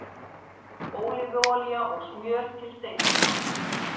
Ólífuolía og smjör til steikingar